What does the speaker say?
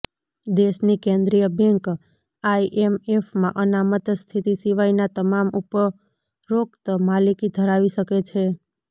દેશની કેન્દ્રીય બેંક આઇએમએફમાં અનામત સ્થિતિ સિવાયના તમામ ઉપરોક્ત માલિકી ધરાવી શકે છે